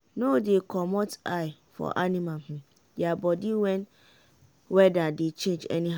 no dey comot eye for animal their body when weather dey change anyhow.